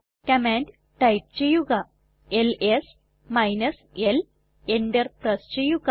command type ചെയ്യുക ls l enter press ചെയ്യുക